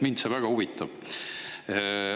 Mind see väga huvitab.